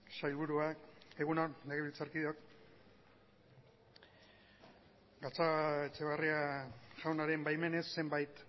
sailburuak egun on legebiltzarkideok gatzagaetxebarria jaunaren baimenez zenbait